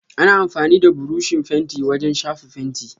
Ana amfani da buroshi fenti wajen shafa fenti.